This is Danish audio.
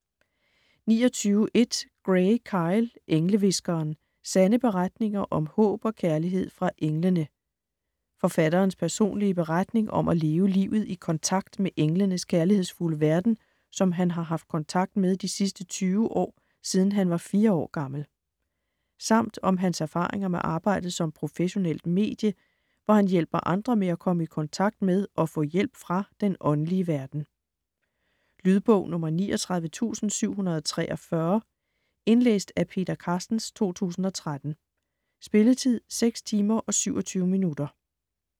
29.1 Gray, Kyle: Englehviskeren: sande beretninger om håb og kærlighed fra englene Forfatterens personlige beretning om at leve livet i kontakt med englenes kærlighedsfulde verden, som han har haft kontakt med de sidste 20 år siden han var 4 år gammel. Samt om hans erfaringer med arbejdet som professionelt medie, hvor han hjælper andre med at komme i kontakt med og få hjælp fra den åndelige verden. Lydbog 39743 Indlæst af Peter Carstens, 2013. Spilletid: 6 timer, 27 minutter.